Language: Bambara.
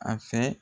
A fɛ